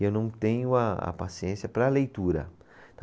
E eu não tenho a, a paciência para a leitura.